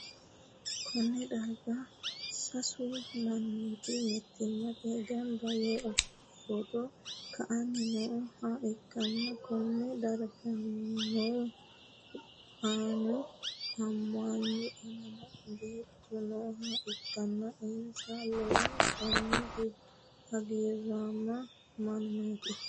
Konne darga sasu mannooti mittimmatenni gamba yee footo ka'anni nooha ikkanna, konne dargano annu, amanna beettu nooha ikkanna insano lowontanni hagiiraamo mannaati.